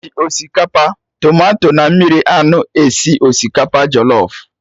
E ji osikapa, tomato na mmiri anụ esi osikapa jọlọf